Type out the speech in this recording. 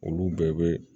Olu bɛɛ bɛ